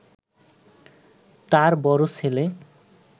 তার বড় ছেলে